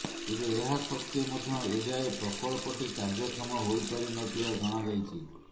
ତେବେ ଏହା ସତ୍ତ୍ୱେ ମଧ୍ୟ ଏଯାଏ ପ୍ରକଳ୍ପଟି କାର୍ଯ୍ୟକ୍ଷମ ହୋଇପାରି ନ ଥିବା ଜଣାଯାଇଛି